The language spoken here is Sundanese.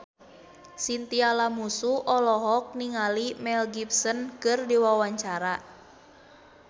Chintya Lamusu olohok ningali Mel Gibson keur diwawancara